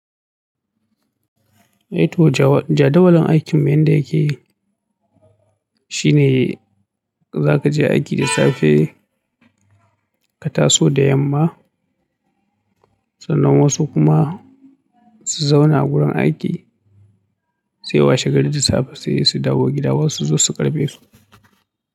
Eh to jadawalin aikin yanda yake shine za ka je aiki da safe ka taso da yamma. Sannan wasu kuma su zauna a gurin aiki sai washe gari da safe sai su dawo gida wasu su ƙarbe su.